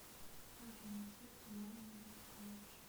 афина поставь цунами мекачи